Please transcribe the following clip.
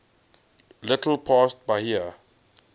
little past bahia